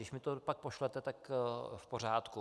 Když mi to pak pošlete, tak v pořádku.